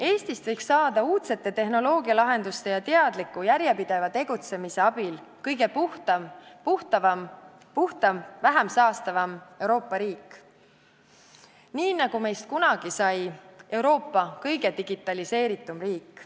Eestist võiks saada uudsete tehnoloogialahenduste ja teadliku järjepideva tegutsemise abil kõige puhtam, kõige vähem saastav Euroopa riik, nii nagu meist kunagi sai Euroopa kõige digitaliseeritum riik.